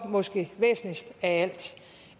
måske væsentligst af